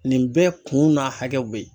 Nin bɛɛ kun n'a hakɛw bɛ yen